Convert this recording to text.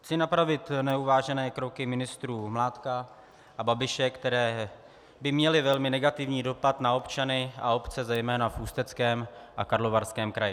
Chci napravit neuvážené kroky ministrů Mládka a Babiše, které by měly velmi negativní dopad na občany a obce zejména v Ústeckém a Karlovarském kraji.